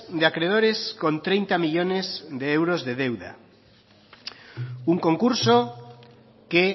de acreedores con treinta millónes de euros de deuda un concurso que